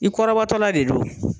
I kɔrɔbɔtɔla de don.